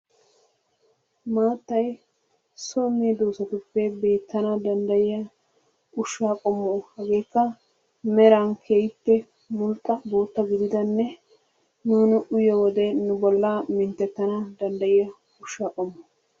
Maattay so meddoossatuppe beettana danddayiya ushshaa qommo hageekka meran keehippe mulxxa bootta gididdanne nuuni uyiyo wode nu bollaa minttettana danddayiya ushshaa qommo.